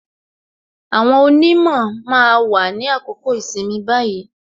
Àwọn onimo máa wà ní àkókò ìsinmi báyìí